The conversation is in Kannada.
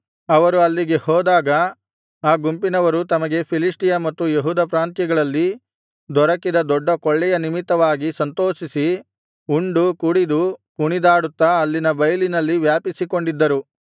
ಅವರು ಅಲ್ಲಿಗೆ ಹೋದಾಗ ಆ ಗುಂಪಿನವರು ತಮಗೆ ಫಿಲಿಷ್ಟಿಯ ಮತ್ತು ಯೆಹೂದ ಪ್ರಾಂತ್ಯಗಳಲ್ಲಿ ದೊರಕಿದ ದೊಡ್ಡ ಕೊಳ್ಳೆಯ ನಿಮಿತ್ತವಾಗಿ ಸಂತೋಷಿಸಿ ಉಂಡು ಕುಡಿದು ಕುಣಿದಾಡುತ್ತಾ ಅಲ್ಲಿನ ಬೈಲಿನಲ್ಲಿ ವ್ಯಾಪಿಸಿಕೊಂಡಿದ್ದರು